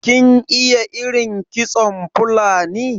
kin iya irin kitson Fulani?